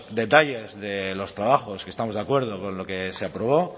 detalles de los trabajos que estamos de acuerdo con lo que se aprobó